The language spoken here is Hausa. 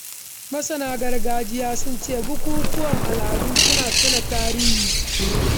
Masana tarihi sun ce bukukuwan gargajiya suna ƙarfafa al’adunmu da tarihimu.